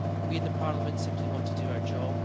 We in the Parliament simply want to do our job.